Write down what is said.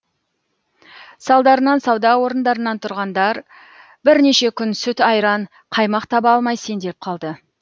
салдарынан сауда орындарынан тұрғындар бірнеше күн сүт айран қаймақ таба алмай сеңделіп қалды